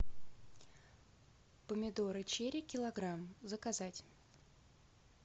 помидоры черри килограмм заказать